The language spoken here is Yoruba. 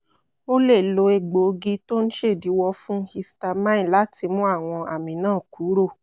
o lè lo egbòogi tó ń ṣèdíwọ́ fún histamine láti mú àwọn àmì náà kúrò